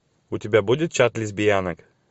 у тебя будет чат лесбиянок